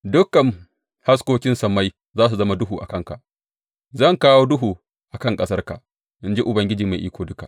Dukan haskokin sammai za su zama duhu a kanka; zan kawo duhu a kan ƙasarka, in ji Ubangiji Mai Iko Duka.